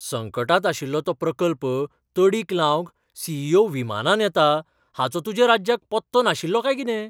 संकटांत आशिल्लो तो प्रकल्प तडीक लावंक सी. ई. ओ. विमानान येता हाचो तुज्या राज्याक पत्तो नाशिल्लो काय कितें?